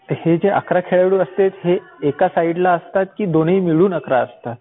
तर हे जे अकरा खेळाडू असतेत, ते एका साईड ला असतात की दोन्ही मिळून अकरा असतात?